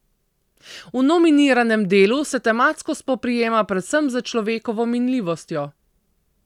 V nominiranem delu se tematsko spoprijema predvsem s človekovo minljivostjo.